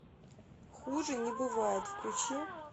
хуже не бывает включи